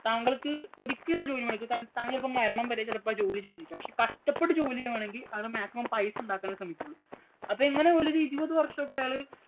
താങ്കള്‍ക്ക് ഒരിക്കലും ആ ജോലി ഒരിക്കലും മടുക്കില്ല. കാരണം മരണം വരെ താങ്കള്‍ക്ക് ആ ജോലി ചെയ്തിരിക്കാം. പക്ഷേ, കഷ്ടപ്പെട്ട് ജോലി ചെയ്യാന്‍ വേണമെങ്കി അത് maximum പൈസ ഉണ്ടാക്കാനെ ശ്രമിക്കയുള്ളൂ. അപ്പൊ ഇങ്ങനെ ഒരു വര്‍ഷമോക്കെ അയാള്